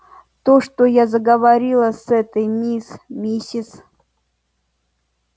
то что я заговорила с этой мисс миссис